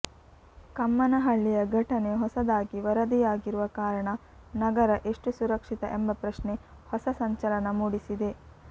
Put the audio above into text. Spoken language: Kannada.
ಕಮ್ಮನಹಳ್ಳಿಯ ಘಟನೆ ಹೊಸದಾಗಿ ವರದಿಯಾಗಿರುವ ಕಾರಣ ನಗರ ಎಷ್ಟು ಸುರಕ್ಷಿತ ಎಂಬ ಪ್ರಶ್ನೆ ಹೊಸ ಸಂಚಲನ ಮೂಡಿಸಿದೆ